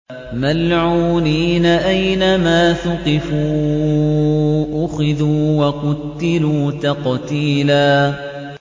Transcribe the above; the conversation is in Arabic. مَّلْعُونِينَ ۖ أَيْنَمَا ثُقِفُوا أُخِذُوا وَقُتِّلُوا تَقْتِيلًا